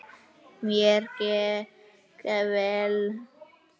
Mér gekk vel.